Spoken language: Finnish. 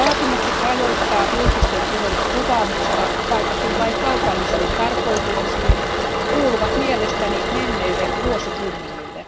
Vaatimukset rajoittaa julkisten tilojen kuvaamista, vaikkakin vain kaupallisiin tarkoituksiin, kuuluvat mielestäni menneille vuosikymmenille.